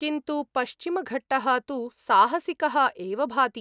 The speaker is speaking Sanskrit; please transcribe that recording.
किन्तु पश्चिमघट्टः तु साहसिकः एव भाति।